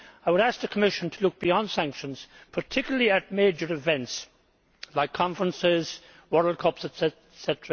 I would ask the Commission to look beyond sanctions, particularly at major events like conferences, World Cups etc.